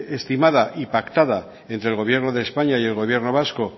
estimada y pactada entre el gobierno de españa y el gobierno vasco